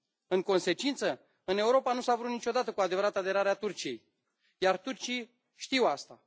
În consecință, în Europa nu s a vrut niciodată cu adevărat aderarea Turciei, iar turcii știu asta.